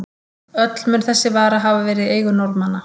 Öll mun þessi vara hafa verið í eigu Norðmanna.